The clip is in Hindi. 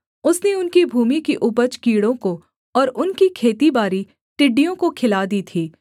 उसने उनकी भूमि की उपज कीड़ों को और उनकी खेतीबारी टिड्डियों को खिला दी थी